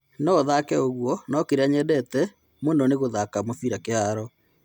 No-thake ũguo no-kĩrĩa nyendete mũno ni gũthaka mũbira kĩharo.